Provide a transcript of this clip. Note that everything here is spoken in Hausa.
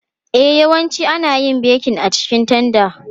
E, yawanci ana yin bekin a cikin tanda.